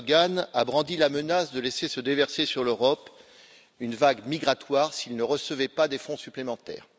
Erdogan, a brandi la menace de laisser se déverser sur l'Europe une vague migratoire s'il ne recevait pas des fonds supplémentaires.